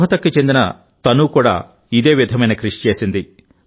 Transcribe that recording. రోహ్తక్కి చెందిన తనూ కూడా ఇదే విధమైన కృషి చేసింది